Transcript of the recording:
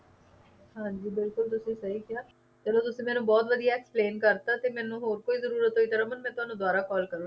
ਹਾਂ ਜੀ ਬਿਲਕੁਲ ਤੁਸੀਂ ਸਹੀ ਕਿਹਾ ਚਲੋ ਤੁਸੀਂ ਮੈਨੂੰ ਬਹੁਤ ਵਧੀਆ explain ਕਰ ਤਾ ਤੇ ਮੈਨੂੰ ਹੋਰ ਕੋਈ ਜਰੂਰਤ ਹੋਈ ਤਾਂ ਰਮਨ ਮੈਂ ਤੁਹਾਨੂੰ ਦੋਬਾਰਾ call ਕਰੂੰਗੀ